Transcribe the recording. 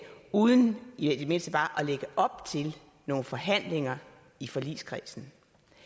uden i det mindste bare at lægge op til nogle forhandlinger i forligskredsen